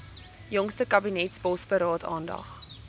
jongste kabinetsbosberaad aandag